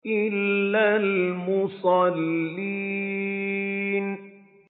إِلَّا الْمُصَلِّينَ